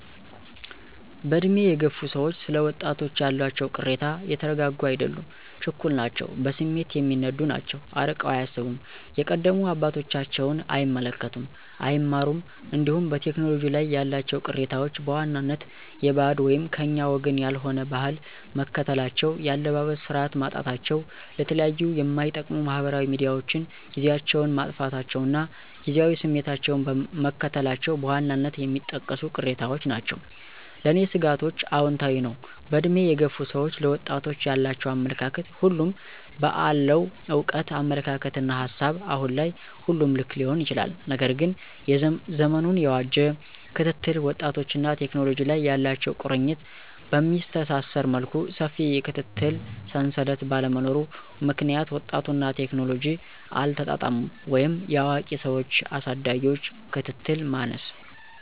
በዕድሜ የገፉ ሰዎች ስለ ወጣቶች ያላቸው ቅሬታ የተረጋጉ አይደሉም ችኩል ናቸው በስሜት የሚነዱ ናቸው አርቀው አያስቡም የቀደሙ አባቶቻቸውን አይመለከቱም አይማሩም እንዲሁም በቴክኖሎጂ ላይ ያላቸው ቅሬታዎች በዋናነት የበዓድ /ከኛ ወገን ያልሆነ/ ባህል መከተላቸው የአለባበስ ስርዓት ማጣታቸው ለተለያዩ ማይጠቅሙ ማህበራዊ ሚዲያዎችን ጊዚያቸውን ማጥፋታቸው እና ጊዚያዊ ስሜታቸውን መከተላቸው በዋናነት የሚጠቀሱ ቅሬታዎች ናቸው። ለኔ ስጋቶችአውንታዊ ነው በእድሜ የገፉ ሰዎች ለወጣቶች ያላቸው አመለካከት ሁሉም በአለው እውቀት አመለካከትና ሀሳብ አሁን ላይ ሁሉም ልክ ሊሆን ይችላል። ነገር ግን ዘመኑን የዋጄ ክትትል ወጣቶችንና ቴክኖሎጂ ላይ ያላቸው ቁርኝት በሚያስተሳስር መልኩ ሰፊ የክትትል ሰንሰለት ባለመኖሩ ምክንያት ወጣቱና ቴክኖሎጂ አልተጣጣሙም ወይም የአዋቂ ሰዎች አሳዳጊዎች ክትትል ማነስ